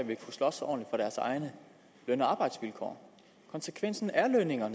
vil kunne slås ordentligt for deres egne løn og arbejdsvilkår konsekvensen er lønninger